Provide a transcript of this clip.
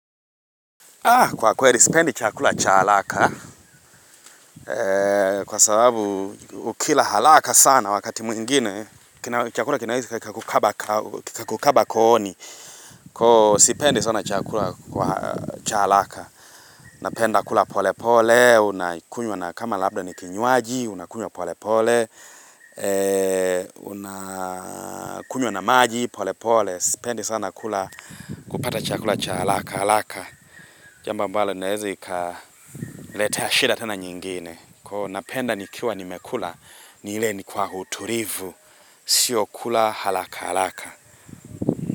Kwa kweli, sipendi chakula cha alaka kwa sababu ukila halaka sana wakati mwingine. Chakula kinawezi kakukaba kooni. Kwa sipendi sana chakula cha alaka. Napenda kula pole pole, unakunywa na kama labda ni kinywaji, unakunywa pole pole, unakunywa na maji, pole pole. Pendi sana kula kupata chakula cha halaka halaka jambo mbalo inaeza ika leteashida tena nyingine na penda nikiwa nimekula ni ile ni kwa hutulivu sio kula halaka halaka.